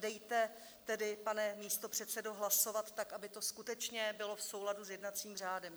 Dejte tedy, pane místopředsedo, hlasovat tak, aby to skutečně bylo v souladu s jednacím řádem.